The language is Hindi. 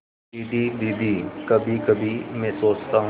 दीदी दीदी कभीकभी मैं सोचता हूँ